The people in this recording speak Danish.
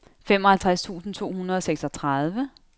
femoghalvtreds tusind to hundrede og seksogtredive